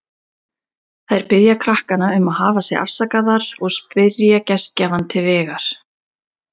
Þær biðja krakkana um að hafa sig afsakaðar og spyrja gestgjafann til vegar.